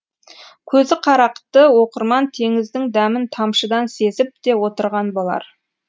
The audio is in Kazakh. көзіқарақты оқырман теңіздің дәмін тамшыдан сезіп те отырған болар